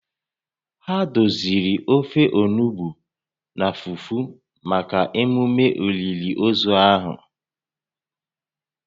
Ha doziri ofe onugbu na fufu maka emume olili ozu ahụ